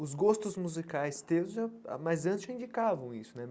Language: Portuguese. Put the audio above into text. os gostos musicais teus já, ah mas antes já indicavam isso, né?